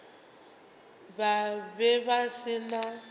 ba be ba se na